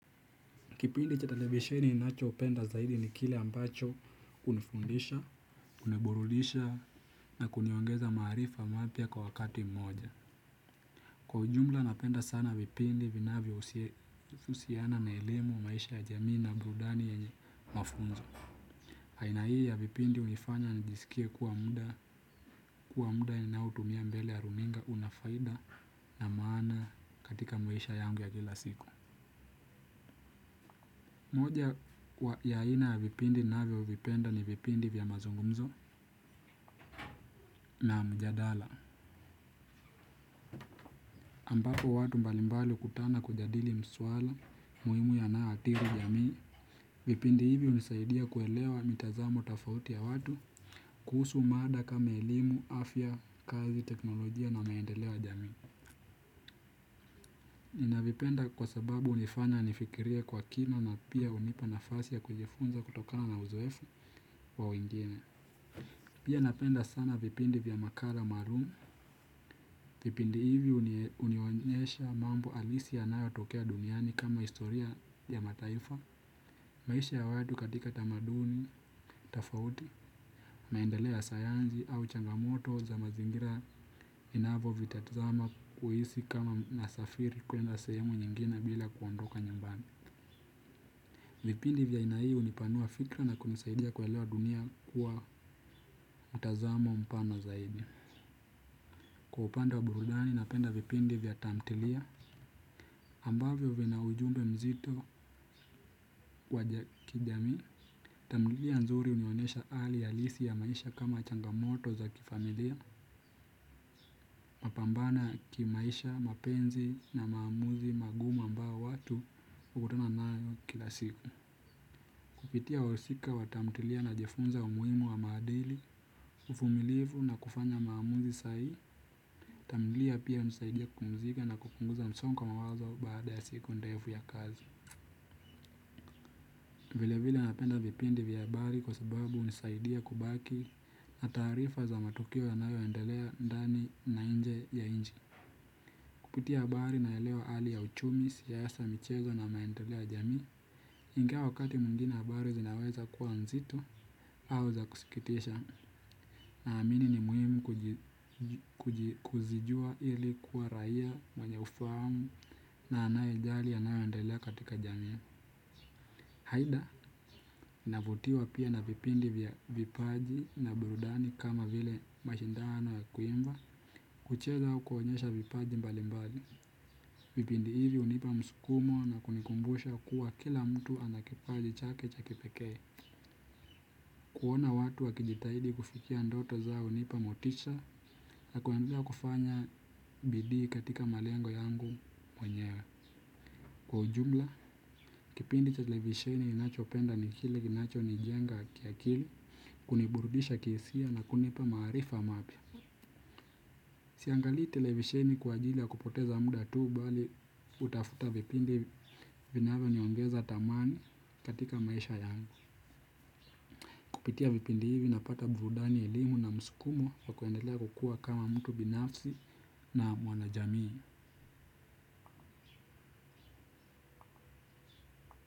Kipindi cha televisheni ninachopenda zaidi ni kile ambacho unifundisha, uniburudisha na kuniongeza maarifa mapya kwa wakati mmoja. Kwa ujumla napenda sana vipindi vinavyohusiana na elimu ya maisha ya jamii na burudani yenye mafunzo. Aina hii ya vipindi unifanya nijisikie kuwa muda ninaotumia mbele ya runinga unafaida na maana katika maisha yangu ya kila siku. Moja ya aina ya vipindi navyovipenda ni vipindi vya mazungumzo na mjadala. Ambapo watu mbalimbali ukutana kujadili maswala muhimu yanayoathiri jamii. Vipindi hivi unisaidia kuelewa mitazamo tofauti ya watu kuhusu mada kama elimu, afya, kazi, teknolojia na maendeleo ya jamii. Nina vipenda kwa sababu unifanya nifikirie kwa kina na pia unipa nafasi ya kujifunza kutokana na uzoefu wa wengine. Pia napenda sana vipindi vya makala maalum. Vipindi hivi unionyesha mambo halisi yanayotokea duniani kama historia ya mataifa, maisha ya watu katika tamaduni, tofauti, maendeleo ya sayansi au changamoto za mazingira ninavyo vitazama kuhisi kama nasafiri kuenda sehemu nyingine bila kuondoka nyumbani. Vipindi vya aina hii unipanua fikra na kunisaidia kuelewa dunia kuwa mtazamo mpana zaidi. Kwa upande wa burudani napenda vipindi vya tamthilia ambavyo vinaujumbe mzito wa kijamii tamthilia nzuri unionesha hali halisi ya maisha kama changamoto za kifamilia. Napambana kimaisha, mapenzi na maamuzi magumu ambao watu ukutana nayo kila siku. Kupitia wahusika wa tamthilia najifunza umuhimu wa maadili. Uvumilivu na kufanya maamuzi sahihi tamthilia pia unisaidia kupumzika na kupunguza msongo wa mawazo baada ya siku ndefu ya kazi. Vile vile napenda vipindi vya habari kwa sababu unisaidia kubaki na taarifa za matukio yanayo endelea ndani na nje ya nchi kupitia habari naelewa hali ya uchumi siasa michezo na maendeleo ya jamii. Ingawa wakati mwingine habari zinaweza kuwa mzito au za kusikitisha na amini ni muhimu kujijua ili kuwa raia mwenye ufahamu na anayejali yanayo endelea katika jamii. Haida, navutiwa pia na vipindi vya vipaji na burudani kama vile mashindano ya kuimba. Kucheza au kuonyesha vipaji mbali mbali. Vipindi hivi unipa msukumo na kunikumbusha kuwa kila mtu ana kipaji chake cha kipekee. Kuona watu wakijitahidi kufikia ndoto zao unipa motisha na kuendelea kufanya bidii katika malengo yangu mwenyewe. Kwa ujumla, kipindi cha televisheni ninacho penda nikile, kinacho nijenga kia kili, kuniburudisha kihisia na kunipa maarifa mapya. Siangalii televisheni kwa ajili ya kupoteza muda tuu bali kutafuta vipindi vinavyoniongeza thamani katika maisha yangu. Kupitia vipindi hivi na pata burudani elimu na msukumo wa kuendelea kukua kama mtu binafsi na mwanajamii.